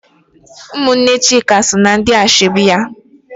Ụmụnne Chika so na ndị ashebi ya.